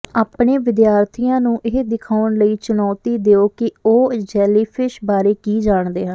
ਆਪਣੇ ਵਿਦਿਆਰਥੀਆਂ ਨੂੰ ਇਹ ਦਿਖਾਉਣ ਲਈ ਚੁਣੌਤੀ ਦਿਉ ਕਿ ਉਹ ਜੈਲੀਫਿਸ਼ ਬਾਰੇ ਕੀ ਜਾਣਦੇ ਹਨ